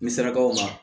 N bɛ sarakaw ma